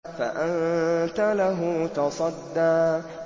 فَأَنتَ لَهُ تَصَدَّىٰ